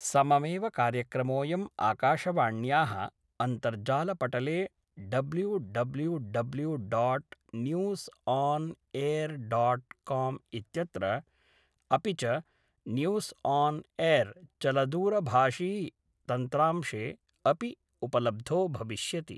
सममेव कार्यक्रमोऽयं आकाशवाण्याः अन्तर्जालपटले W W W dot news on air dot com इत्यत्र, अपि च, न्यूस् आन् एर् चलदूरभाषी तन्त्रांशे अपि उपलब्धो भविष्यति